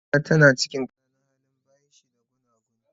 Amina tana cikin qananan hali, buymt shi ba gunaguni.